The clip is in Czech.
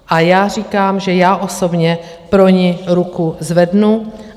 A já říkám, že já osobně pro ni ruku zvednu.